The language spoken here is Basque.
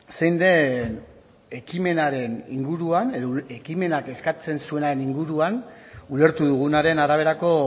zein den ekimenaren inguruan edo ekimenak eskatzen zuenaren inguruan ulertu dugunaren araberako